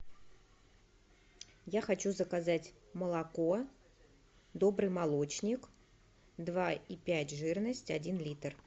я хочу заказать молоко добрый молочник два и пять жирность один литр